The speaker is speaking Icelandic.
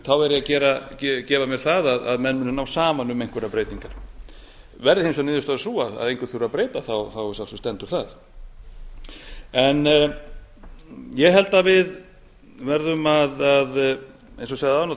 þá gef ég mér það að menn muni ná saman um einhverjar breytingar verði hins vegar niðurstaðan sú að engu þurfi að breyta stendur það sjálfsagt ég held að við verðum að eins og